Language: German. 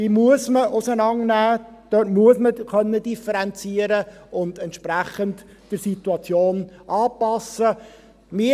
Man muss sie auseinandernehmen, man muss differenzieren und entsprechend der Situation anpassen können.